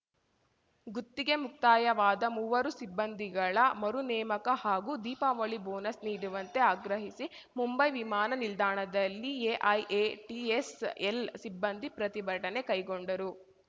ಗುತ್ತಿಗೆ ಮುಕ್ತಾಯವಾದ ಮೂವರು ಸಿಬ್ಬಂದಿಗಳ ಮರು ನೇಮಕ ಹಾಗೂ ದೀಪಾವಳಿ ಬೋನಸ್‌ ನೀಡುವಂತೆ ಆಗ್ರಹಿಸಿ ಮುಂಬೈ ವಿಮಾನ ನಿಲ್ದಾಣದಲ್ಲಿ ಎಐಎಟಿಎಸ್‌ಎಲ್‌ ಸಿಬ್ಬಂದಿ ಪ್ರತಿಭಟನೆ ಕೈಗೊಂಡರು